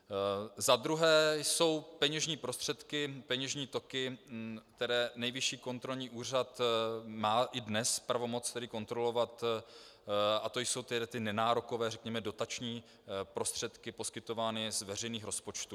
Za druhé jsou peněžní prostředky, peněžní toky, které Nejvyšší kontrolní úřad má i dnes pravomoc kontrolovat, a to jsou ty nenárokové, řekněme dotační prostředky poskytované z veřejných rozpočtů.